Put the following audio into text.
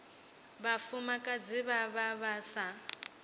vhafumakadzi vha vha vha sa